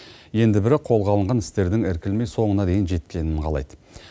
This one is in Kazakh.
енді бірі қолға алынған істердің іркілмей соңына дейін жеткенін қалайды